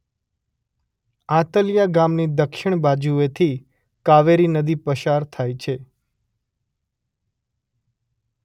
આંતલિયા ગામની દક્ષિણ બાજુએથી કાવેરી નદી પસાર થાય છે.